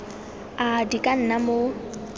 ap di ka nna mo